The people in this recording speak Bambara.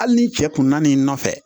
Hali ni cɛ kun na n'i nɔfɛ